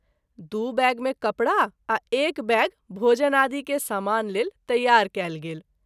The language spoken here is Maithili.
दू बैग में कपड़ा आ एक बैग भोजनादि के सामान लेल तैयार कएल गेल।